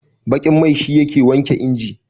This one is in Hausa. baƙin mai shi yake wanke inji